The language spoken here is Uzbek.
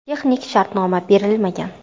Texnik shartnoma berilmagan.